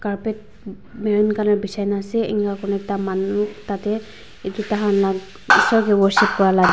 carpet marron colour bejai kena ase ena kurena ekta manu etu dakan la isor ke worship kura la.